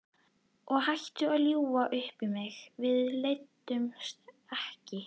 Og hættu að ljúga upp á mig, við leiddumst ekki!